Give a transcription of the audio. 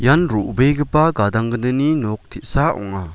ian ro·begipa gadang gnini nok te·sa ong·a.